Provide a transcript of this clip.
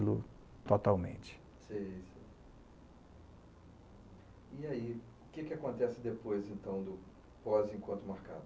lo totalmente. Sei. E aí, o que acontece depois, então, do pós encontro marcado?